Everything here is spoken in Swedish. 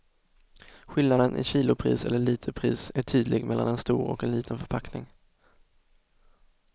Skillnaden i kilopris eller literpris är tydlig mellan en stor och en liten förpackning.